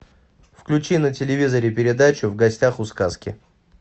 включи на телевизоре передачу в гостях у сказки